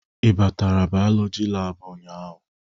Ị batara bayolọjị laabu ụnyaahụ?